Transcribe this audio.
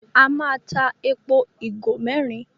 A má tá èpo igo mérin.